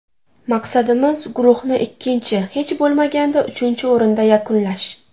Maqsadimiz guruhni ikkinchi, hech bo‘lmaganda uchinchi o‘rinda yakunlash”.